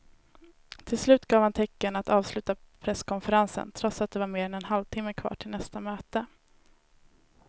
Till slut gav han tecken att avsluta presskonferensen trots att det var mer än en halvtimme kvar till nästa möte.